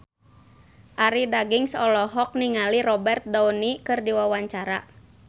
Arie Daginks olohok ningali Robert Downey keur diwawancara